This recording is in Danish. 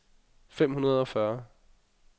fem hundrede og fyrre